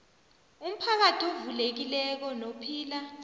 umphakathi ovulekileko nophila